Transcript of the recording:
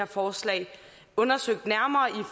forslaget undersøgt nærmere i